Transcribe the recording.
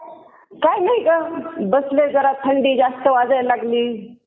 काय नाही गं. बसले जरा. थंडी जास्त वाजायला लागली.